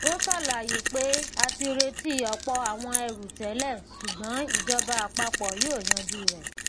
ó ṣàlàyé pé a ti retí ọpọ àwọn èrù tẹlẹ ṣùgbọn ìjọba àpapọ yóò yanjú rẹ